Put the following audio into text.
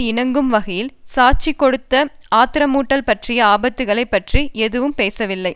இணங்கும் வகையில் சாட்சி கொடுத்த ஆத்திரமூட்டல் பற்றிய ஆபத்தைப் பற்றி எதுவும் பேசவில்லை